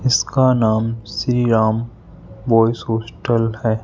इसका नाम Shriram boys hostel है।